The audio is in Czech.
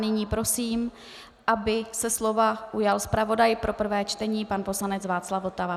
Nyní prosím, aby se slova ujal zpravodaj pro prvé čtení pan poslanec Václav Votava.